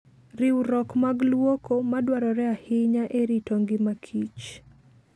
Riwruok mag luoko madwarore ahinya e rito ngima kich .